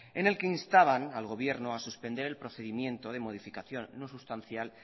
en el que instaban al gobierno a suspender el procedimiento de modificación no sustancial